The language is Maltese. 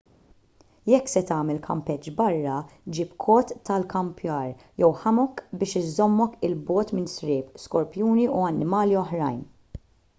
jekk se tagħmel kampeġġ barra ġib kot tal-ikkampjar jew hammock biex iżommok il bogħod minn sriep skorpjuni u annimali oħrajn